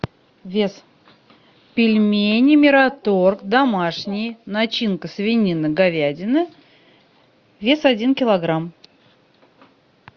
вес пельмени мираторг домашние начинка свинина говядина вес один килограмм